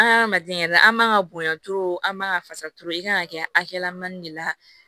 An adamaden yɛrɛ an ka bonya an man ka fasa i kan ka kɛ hakɛlamanni de la